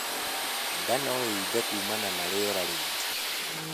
Ndaa noiimbi kuumana na rĩera riingi